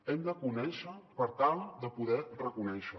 hem de conèixer per tal de poder reconèixer